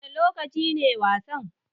Wanne lokaci ne wasan?